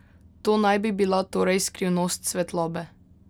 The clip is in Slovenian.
To naj bi bila torej skrivnost svetlobe!